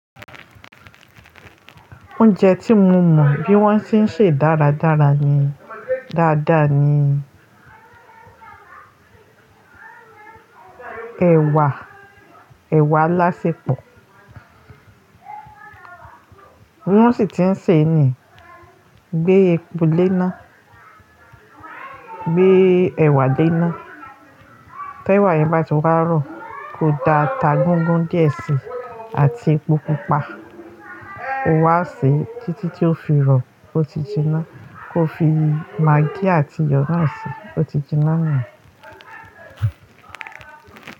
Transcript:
Oúnjẹ tí mo mọ bí wọ́n ti ń sè dáradára ni dáadáa ni ẹ̀wà, ẹ̀wà alásẹpọ̀. Wón sì ti ń sè e ní gbé epo lé iná, gbé ẹ̀wà lé iná. Tí ẹ̀wà yẹn bá ti wá rọ̀, kó da ata gúgún díẹ̀ síi àti epo pupa. O wá sè e títí tí ó fi rọ̀ ó ti jiná. Kó fi magí àti iyọ̀ náà sè e, ó ti jiná ni.